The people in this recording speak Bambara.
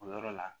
O yɔrɔ la